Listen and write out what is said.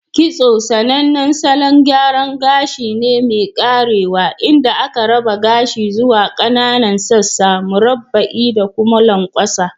Kitso sAnannen salon gyara gashi ne mai karewa inda aka raba gashi zuwa kAnanan sassan murabba'i da kuma lanƙwasa.